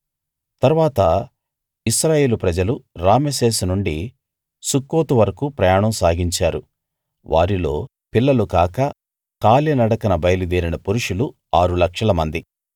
తరువాత ఇశ్రాయేలు ప్రజలు రామెసేసు నుండి సుక్కోతు వరకూ ప్రయాణం సాగించారు వారిలో పిల్లలు కాక కాలి నడకన బయలుదేరిన పురుషులు ఆరు లక్షల మంది